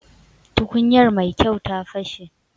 Tukuyar Mai kyau ta fashe.